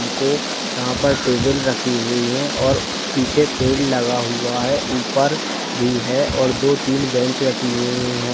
हमको यहाँ पर टेबल रखी हुई हैं और पीछे पेड़ लगा हुआ हैं ऊपर भी हैं और दो तीन बेंच रखी हुई हैं।